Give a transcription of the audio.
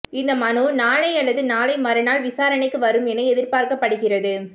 இந்த மனு நாளை அல்லது நாளை மறுநாள் விசாரணைக்கு வரும் என எதிர்பார்க்கப்படுகிறது